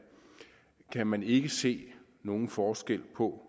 kan man ikke se nogen forskel på